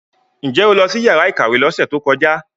Ǹ jẹ́ o lọ sí yàrá ìkàwé lọ́sẹ̀ tó kọjá?